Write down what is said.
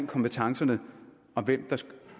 kompetencerne om hvem der skulle